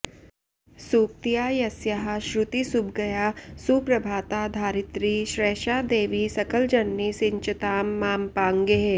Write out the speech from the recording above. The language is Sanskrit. सूक्त्या यस्याः श्रुतिसुभगया सुप्रभाता धरित्री सैषा देवी सकलजननी सिञ्चतां मामपाङ्गैः